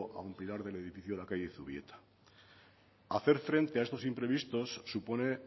a un pilar del edificio de la calle zubieta hacer frente a estos imprevistos supone